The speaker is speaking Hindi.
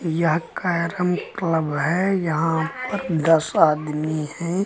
यह कैरम क्लब है यहां पर दस आदमी है।